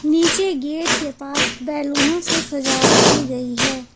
नीचे गेट के पास बैलूनो से सजावट की गई है।